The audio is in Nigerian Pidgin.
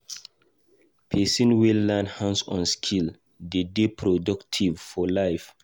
Pesin wey learn hands-on skill dey dey productive for life.